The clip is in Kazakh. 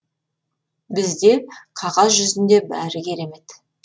бізде қағаз жүзінде бәрі керемет